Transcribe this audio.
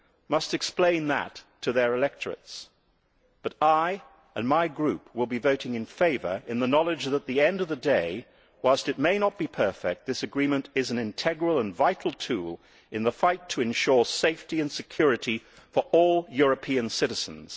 must explain that to their electorates, but I and my group will be voting in favour in the knowledge that, at the end of the day, whilst it may not be perfect, this agreement is an integral and vital tool in the fight to ensure safety and security for all European citizens.